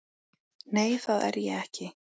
Nei, það er ég ekki.